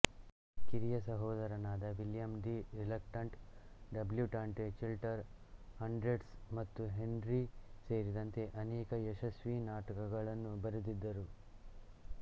ಕಿರಿಯ ಸಹೋದರನಾದ William The Reluctant Debutante Chiltern Hundreds ಮತ್ತು ಹೆನ್ರಿ ಸೇರಿದಂತೆ ಅನೇಕ ಯಶಸ್ವಿ ನಾಟಕಗಳನ್ನು ಬರೆದಿದ್ದರು